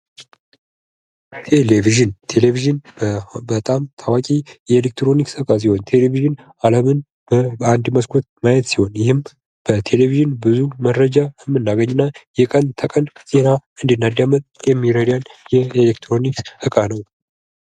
ቴሌቭዥን ቴሌቭዥን በጣም ታዋቂ የኤሌክትሮኒክስ ዕቃ ሲሆን ቴሌቭዥን አለምን በአንድ መስኮት ማየት ሲሆን ይህም በቴሌቭዥን ብዙ መረጃ እንድናገኝ እና የቀን ተቀን ዜና እንድናዳምጥ የሚረዳን ይህ የኤሌክሮኒክስ ዕቃ ነው::